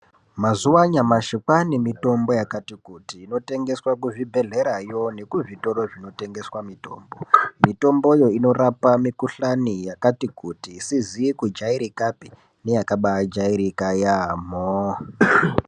Mazuwa anyamashi kwaane mitombo yakati kuti inotengeswa kuzvibhedhlerayo nekuzvitoro zvinoteswa mitombo mitomboyo inorapa mikuhlani yakati kuti isizi kujairikapi neyabakajairika yaamho.